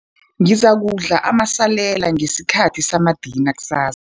Ngizakudla amasalela ngesikhathi samadina kusas